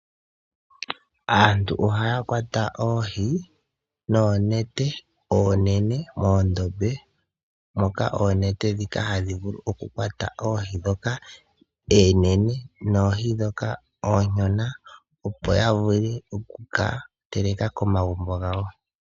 Aantu ohaya kwata oohi noonete oonene moondombe moka oonete ndhika hadhi vulu okukwata oohi ndhoka oonene noohi ndhoka ooshona opo ya vule okukateleka komagumbo gawo.